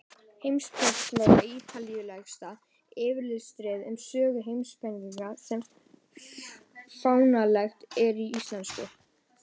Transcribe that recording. Heimspekisaga er ítarlegasta yfirlitsritið um sögu heimspekinnar sem fáanlegt er á íslensku.